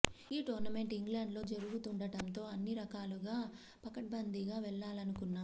ఆ టోర్నమెంట్ ఇంగ్లండ్లో జరుగుతుండటంతో అన్ని రకాలుగా పకడ్బందీగా వెళ్లాలనుకున్నాం